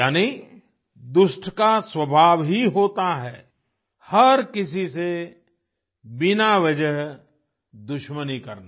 यानी दुष्ट का स्वभाव ही होता है हर किसी से बिना वजह दुश्मनी करना